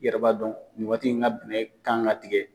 I yɛrɛr ba dɔn ni waati de la bɛnɛ kan ka tigɛ.